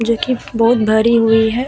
जो की बहुत भरी हुई है ।